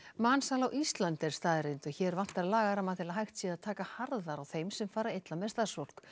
mansal á Íslandi er staðreynd og hér vantar lagaramma til að hægt sé að taka harðar á þeim sem fara illa með starfsfólk